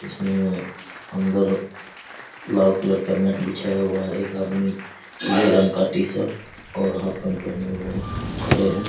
उसमें अंदर लाल कलर का मेट बिछया हुआ है एक आदमी पीले रंग टी-शर्ट और हाफ पैंट पहने हुए हैं खड़े हैं।